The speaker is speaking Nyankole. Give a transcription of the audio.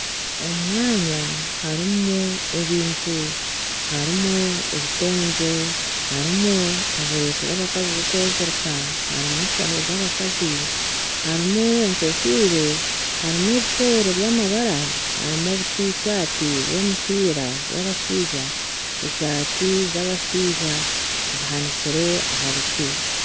Omu mwanya harimu ebintu, harimu ebitengye harimu oburesu bw'abakazi bwokwezirika harimu enshaho z'abakazi harimu enkofiira harimu ebishooro by'amabara harimu obutishati bw'omupiira bw'abashaija , eshaati z'abashaija zihanikire aha biti.